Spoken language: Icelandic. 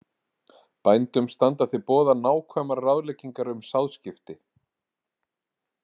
Bændum standa til boða nákvæmar ráðleggingar um sáðskipti.